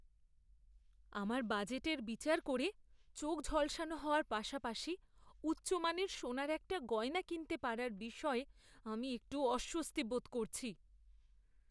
আমার বাজেটের বিচার করে, চোখ ঝলসানো হওয়ার পাশাপাশি উচ্চমানের সোনার একটা গয়না কিনতে পারার বিষয়ে আমি একটু অস্বস্তি বোধ করছি।